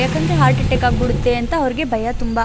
ಯಾಕಂದ್ರೆ heart attack ಆಗಿ ಬಿಡುತ್ತೆ ಅಂತ ಅವರಿಗೆ ಭಯ ತುಂಬಾ.